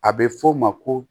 A bɛ fɔ o ma ko